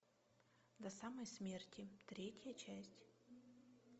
до самой смерти третья часть